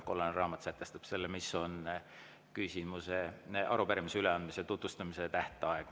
Kollane raamat sätestab selle, kui pikk on arupärimise üleandmisel selle tutvustamise tähtaeg.